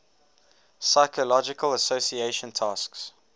psychological association task